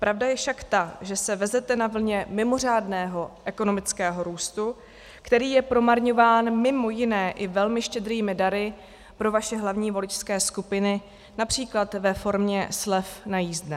Pravda je však ta, že se vezete na vlně mimořádného ekonomického růstu, který je promarňován mimo jiné i velmi štědrými dary pro vaše hlavní voličské skupiny, například ve formě slev na jízdné.